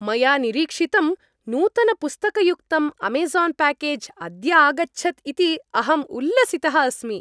मया निरीक्षितं, नूतनपुस्तकयुक्तं अमेज़ान् प्याकेज् अद्य आगच्छत् इति अहम् उल्लसितः अस्मि।